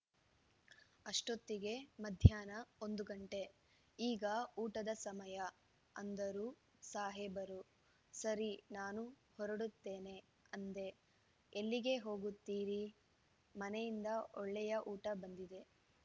ಅಷ್ಟೊತ್ತಿಗೆ ಮಧ್ಯಾಹ್ನ ಒಂದು ಗಂಟೆ ಈಗ ಊಟದ ಸಮಯ ಅಂದರು ಸಾಹೇಬರು ಸರಿ ನಾನು ಹೊರಡುತ್ತೇನೆ ಅಂದೆ ಎಲ್ಲಿಗೆ ಹೋಗುತ್ತೀರಿ ಮನೆಯಿಂದ ಒಳ್ಳೆಯ ಊಟ ಬಂದಿದೆ